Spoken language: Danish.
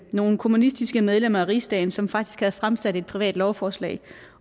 nogle kommunistiske medlemmer af rigsdagen som faktisk havde fremsat et privat lovforslag